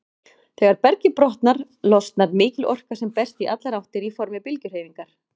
Þegar bergið brotnar, losnar mikil orka sem berst í allar áttir í formi bylgjuhreyfingar.